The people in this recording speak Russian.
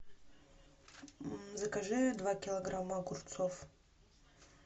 закажи два килограмма огурцов